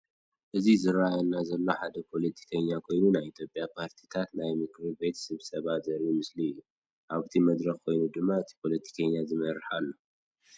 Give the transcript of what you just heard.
እዚ ዝረአየና ዘሎ ሓደ ፖለቲከኛ ኮይኑ ናይ ኢትዮጵያ ፓርቲታት ናይ ምክርቤት ስብሰባ ዘርኢ ምስሊ እዩ። ኣብቲ መድረክ ኮይኑ ድማ እቲ ፖለቲከኛ ይመርሕ ኣሎ።